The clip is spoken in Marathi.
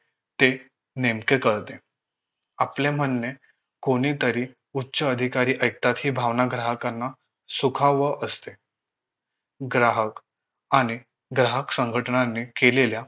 ते नेमके कळते आपले म्हणणे कोणीतरी उच्च अधिकारी ऐकतात हि भावना ग्राहकांना सुखावह असते ग्राहक आणि ग्राहक संघटनांनी केलेल्या